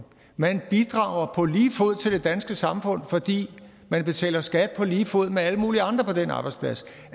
man bidrager på lige fod til det danske samfund fordi man betaler skat på lige fod med alle mulige andre på den arbejdsplads